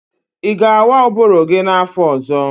Ị ga-awa ụbụrụ gi n'afọ ọzọ?